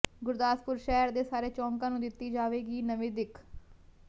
ਗੁਰਦਾਸਪੁਰ ਸ਼ਹਿਰ ਦੇ ਸਾਰੇ ਚੌਂਕਾਂ ਨੂੰ ਦਿੱਤੀ ਜਾਵੇਗੀ ਨਵੀਂ ਦਿੱਖ